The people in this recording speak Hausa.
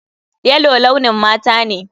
Yellow launin mata ne.